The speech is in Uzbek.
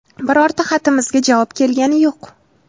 Birorta xatimizga javob kelgani yo‘q.